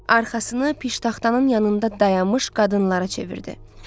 Arxasını piştaxtanın yanında dayanmış qadınlara çevirdi.